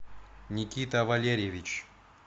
никита валерьевич